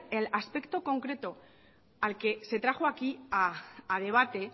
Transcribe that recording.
al aspecto concreto al que se trajo aquí a debate